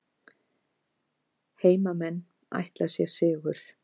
Heimamenn ætla sér sigur